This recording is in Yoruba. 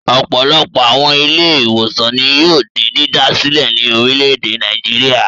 Ọ̀pọ̀lọpọ̀ àwọn ilé-ìwòsàn ni yóò di dídá sílẹ̀ ní orílẹ̀-èdè Nàìjíríà.